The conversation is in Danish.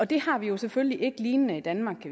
det har vi jo selvfølgelig ikke lignende i danmark